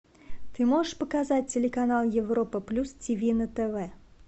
ты можешь показать телеканал европа плюс тв на тв